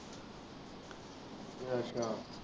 ਅੱਛਾ।